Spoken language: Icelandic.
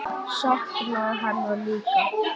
Sakna hennar líka.